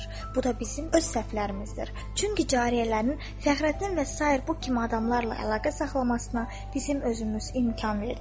Bu da bizim öz səhvlərimizdir, çünki cariyələrin Fəxrəddin və sair bu kimi adamlarla əlaqə saxlamasına bizim özümüz imkan verdik.